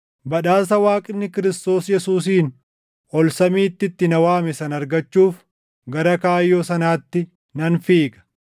badhaasa Waaqni Kiristoos Yesuusiin ol samiitti itti na waame sana argachuuf gara kaayyoo sanaatti nan fiiga.